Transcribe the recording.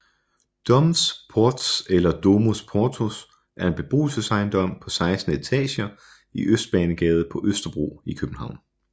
Domvs Portvs eller Domus Portus er en beboelsesejendom på 16 etager i Østbanegade på Østerbro i København